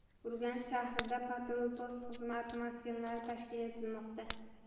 Urganch shahrida patrul-post xizmati maskanlari tashkil etilmoqda.